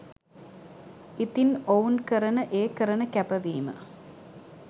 ඉතිං ඔවුන් කරන ඒ කරන කැපවීම